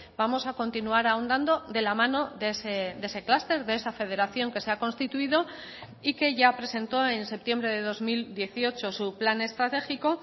vamos a continuar ahondando de la mano de ese clúster de esa federación que se ha constituido y que ya presentó en septiembre de dos mil dieciocho su plan estratégico